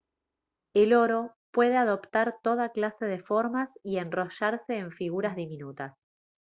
el oro puede adoptar toda clase de formas y enrollarse en figuras diminutas